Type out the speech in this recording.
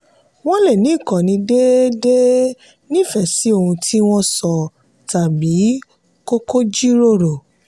wọ́n lè lo ìkànnì déédéé nífẹ̀ẹ́ sí ohun tí wọ́n sọ tàbí kókó jíròrò.